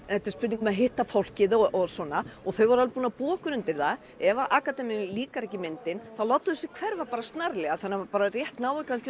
þetta er spurning um að hitta fólkið og svona þau voru alveg búin að búa okkur undir það ef að akademíunni líkar ekki myndin þá láta þau sig hverfa bara snarlega þannig að maður rétt nái